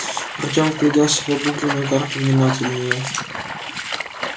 артём вгляделся в обугленную карту внимательнее